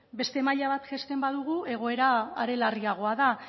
beste maila bat jaisten badugu egoera are larriagoa da